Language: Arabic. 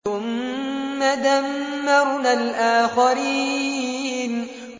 ثُمَّ دَمَّرْنَا الْآخَرِينَ